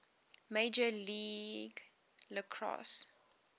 major league lacrosse